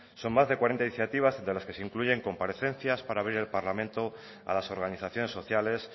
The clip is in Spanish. son más de cuarenta iniciativas de las que se incluyen comparecencias para abrir el parlamento a las organizaciones sociales